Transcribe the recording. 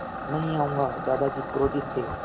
नहीं आऊँगा दादाजी क्रोधित थे